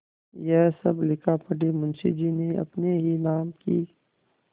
यह सब लिखापढ़ी मुंशीजी ने अपने ही नाम की क्